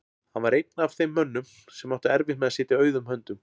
Hann var einn af þeim mönnum sem áttu erfitt með að sitja auðum höndum.